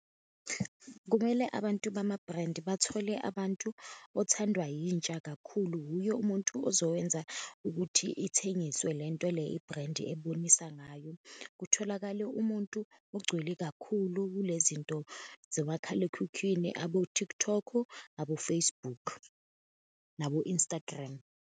Kumele abantu bama-brand bathole abantu othandwa yintsha kakhulu, wuye umuntu ozowenza ukuthi ithengiswe lento le i-brand ebonisa ngayo. Kutholakale umuntu ogcwele kakhulu kule zinto zomakhalekhukhwini, abo-TikTok, abo-Facebook, nabo-Instagram.